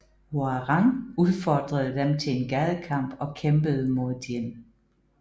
Hwoarang udfordrede dem til en gadekamp og kæmpede mod Jin